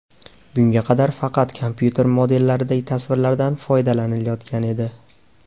Bunga qadar faqat kompyuter modellaridagi tasvirlardan foydalanilayotgan edi.